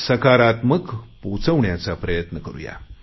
सकारात्मक पोचवण्याचा प्रयत्न करुया